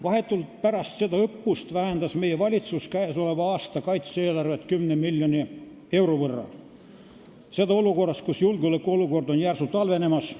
Vahetult pärast seda õppust vähendas meie valitsus käesoleva aasta kaitse-eelarvet 10 miljoni euro võrra, seda olukorras, kus julgeolekuolukord on järsult halvenemas.